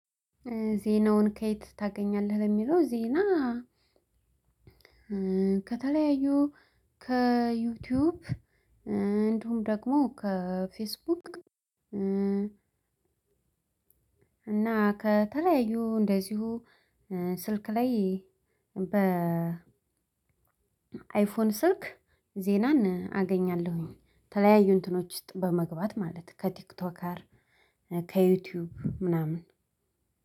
ዜናውን ከየት ታገኛለህ? የሚለው ዜና ከተለያዩ ከዩቲዩብ እንደውም ደግሞ ከፌስቡክ እና ከተለያዩ እንደዚሁ ስልክ ላይ በ አይፎን ስልክ ዜናን አገኛለሁኝ ተለያዩ እንትኖች ውስጥ በመግባት ማለት ከቲክቶከር፣ ከዩቲዩብ ምናምን